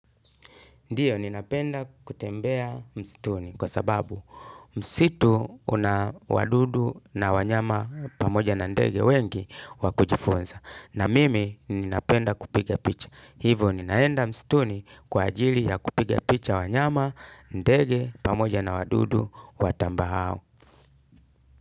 Ndiyo ninapenda kutembea mstuni kwa sababu msitu una wadudu na wanyama pamoja na ndege wengi wakujifunza. Na mimi ninapenda kupige picha. Hivyo ninaenda mstuni kwa ajili ya kupiga picha wanyama, ndege, pamoja na wadudu watambao.